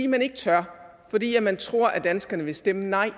man ikke tør fordi man tror danskerne vil stemme nej